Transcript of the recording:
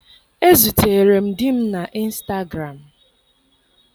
Ezutere m di m na Ịnstagram.